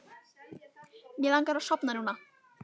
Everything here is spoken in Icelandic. Mig langar að sofna núna.